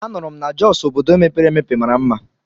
A nụrụ m na Jọs obodo mepere emepe mara mma.